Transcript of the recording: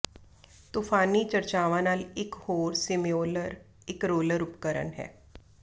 ਤੂਫਾਨੀ ਚਰਚਾਵਾਂ ਨਾਲ ਇਕ ਹੋਰ ਸਿਮਿਓਲਰ ਇਕ ਰੋਲਰ ਉਪਕਰਣ ਹੈ